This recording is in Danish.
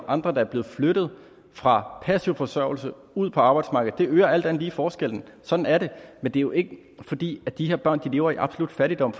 andre der er blevet flyttet fra passiv forsørgelse og ud på arbejdsmarkedet det øger alt andet lige forskellen sådan er det men det er jo ikke fordi de her børn lever i absolut fattigdom